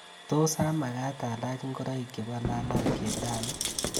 Tos amakat alach ngoraik chebo lalangyet rani?